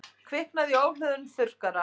Kviknaði í ofhlöðnum þurrkara